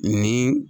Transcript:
Ni